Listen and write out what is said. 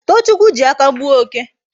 Tochukwu ji aka gbuo oke